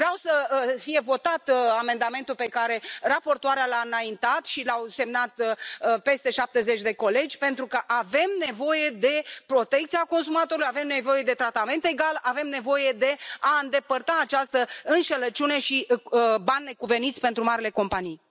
Vreau să fie votat amendamentul pe care raportoarea l a înaintat și l au semnat peste 70 de colegi, pentru că avem nevoie de protecția consumatorilor, avem nevoie de tratament egal, avem nevoie de a îndepărta această înșelăciune și banii necuveniți pentru marile companii.